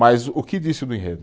Mas o que disse do enredo?